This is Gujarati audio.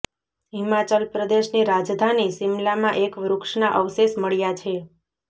હિમાચલ પ્રદેશની રાજધાની શિમલામાં એક વૃક્ષના અવશેષ મળ્યા છે